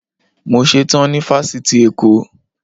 Mo ṣe tán ní Fásitì Èkó.